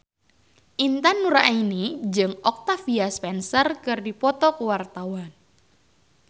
Intan Nuraini jeung Octavia Spencer keur dipoto ku wartawan